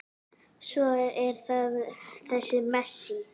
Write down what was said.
Svo er það þessi Messi.